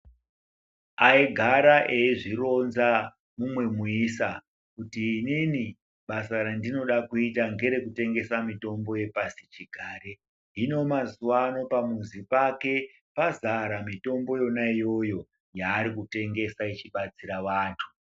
Aigara eizvironza umwe muisa kuti inini basa rendinoda kuita ngerekutengesa mutombo wepasichigare. Hino mazuwa ano pamuzi pake pazara mitombo yona iyoyo yayekutengesa ichibatsira antu.